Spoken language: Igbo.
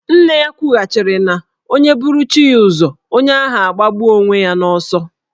Nne ya kwughachịrị na onye buru chi ya ụzọ, onye ahụ agbagbuo onwe ya n'ọsọ.